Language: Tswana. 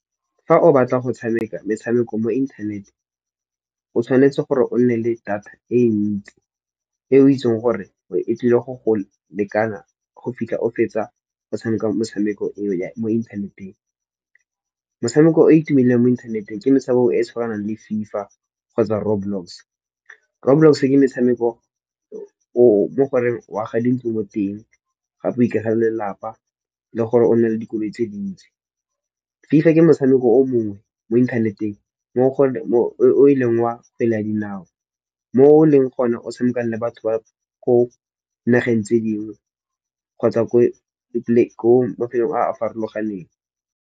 Fa o batla go tshameka metshameko mo inthaneteng o tshwanetse gore o nne le data e ntsi, e o itsing gore o e tlile go go lekana go fitlha o fetsa go tshameka motshameko eo mo inthaneteng. Motshameko o itumileng mo inthaneteng ke metshameko e e tshwanang le FIFA kgotsa Roblox. Roblox ke metshameko o mo goreng o aga dintlo mo teng, gape o ikagele lelapa le gore o nne le dikoloi tse dintsi. FIFA ke motshameko o mongwe mo inthaneteng o e leng wa kgwele ya dinao mo o leng gona o tshamekang le batho ba ko nageng tse dingwe kgotsa ko mafelong a a farologaneng.